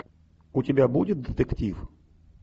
у тебя будет детектив